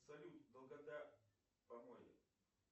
салют долгота поморья